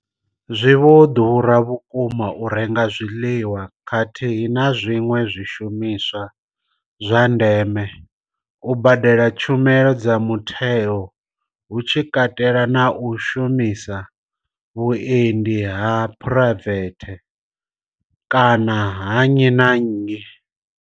Zwi vho ḓura vhukuma u renga zwiḽiwa khathihi na zwiṅwe zwishumiswa zwa ndeme, u badela tshumelo dza mutheo hu tshi katelwa na u shumisa vhuendi ha phuraivethe kana ha nnyi na nnyi.